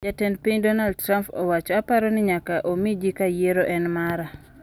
Jatend piny Donald Trump owacho:"Aparo ni nyaka omi ji ka yiero en mara".